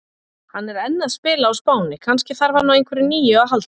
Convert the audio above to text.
Hann er enn að spila á Spáni, kannski þarf hann á einhverju nýju að halda?